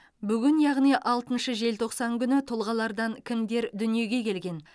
бүгін яғни алтыншы желтоқсан күні тұлғалардан кімдер дүниеге келген